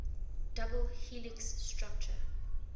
double helix structure